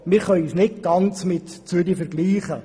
Wir können uns nicht ganz mit Zürich vergleichen.